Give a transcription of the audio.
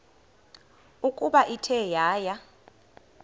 ukuba ithe yaya